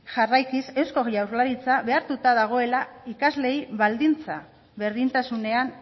jarraikiz euskal jaurlaritza behartuta dagoela ikasleei baldintzak berdintasunean